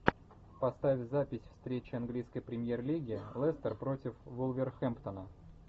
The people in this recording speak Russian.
поставь запись встречи английской премьер лиги лестер против вулверхэмптона